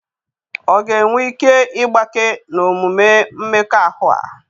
Ọ̀ ga-enwe ike ịgbake n'omume mmekọahụ a?